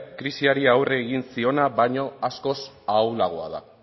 krisiari aurre egin ziona baino askoz ahulagoa da